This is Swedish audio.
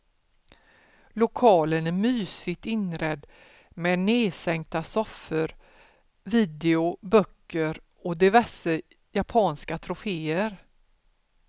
Lokalen är mysigt inredd med nedsänkta soffor, video, böcker och diverse japanska troféer.